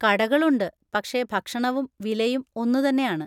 കടകളുണ്ട്, പക്ഷെ ഭക്ഷണവും വിലയും ഒന്നുതന്നെയാണ്.